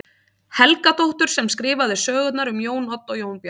Helgadóttur sem skrifaði sögurnar um Jón Odd og Jón Bjarna.